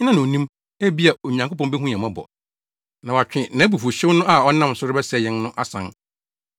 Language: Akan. Hena na onim? Ebia, Onyankopɔn behu yɛn mmɔbɔ, na watwe nʼabufuwhyew no a ɔnam so rebɛsɛe yɛn no asan.”